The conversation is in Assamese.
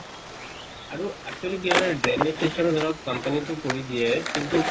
আৰু actually কি হয় ন drainage system ধৰক company টো কৰি দিয়ে